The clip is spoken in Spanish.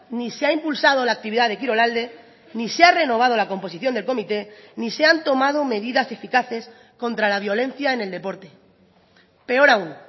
ni se ha impulsado la actividad de kirolalde ni se ha renovado la composición del comité ni se han tomado medidas eficaces contra la violencia en el deporte peor aún